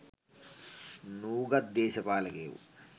නූගත් දේශපාලකයකු